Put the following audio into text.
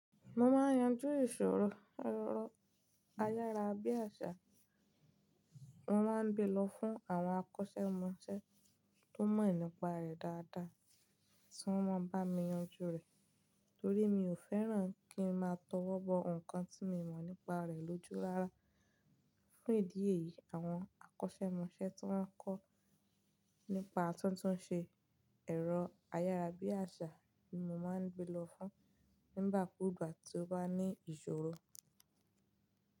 Mo máa ń yanjú ìṣòro ẹrọ ayárabíàṣá. Mo máa ń gbe lọ fún àwọn akọ́ṣẹ́mọṣẹ́ tó mọ̀ nípa rẹ̀ dáadáa tí wọ́n mọ̀ bá mi yanjú rẹ̀. Torí mi ò fẹ́ràn kí ń máa tó wọ́ bọ ǹkan tí mi mọ̀ nípa rẹ̀ lójú rara. Fún ìdí èyí, àwọn akọ́ṣẹ́mọṣẹ́ tí wọ́n kọ́ nípa tuntun ṣe ẹ̀rọ ayára bí àṣá ni mo máa ń gbe lọ fún nígbà kúgbà tí ó bá ní ìṣòro.